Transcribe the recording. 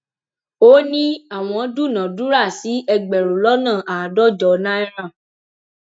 ó ní àwọn dúnàádúrà sí ẹgbẹrún lọnà àádọjọ náírà